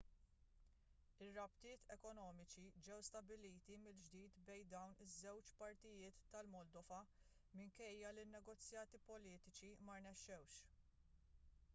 ir-rabtiet ekonomiċi ġew stabbiliti mill-ġdid bejn dawn iż-żewġ partijiet tal-moldova minkejja li ln-negozjati politiċi ma rnexxewx